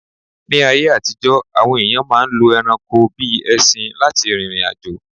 Ní ayé àtijọ́, àwọn èyàn máà ń lo ẹranko bíi ẹṣin lá ti rìrìn àjò.